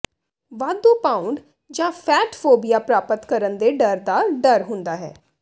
ਵਾਧੂ ਪਾਊਂਡ ਜਾਂ ਫੈਟਫੋਬੀਆ ਪ੍ਰਾਪਤ ਕਰਨ ਦੇ ਡਰ ਦਾ ਡਰ ਹੁੰਦਾ ਹੈ